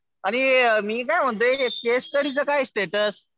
आणि मी काय म्हणतोय केस स्टडीचं काय आहे स्टेटस?